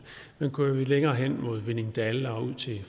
men kører vi længere hen mod hvinningdal og ud til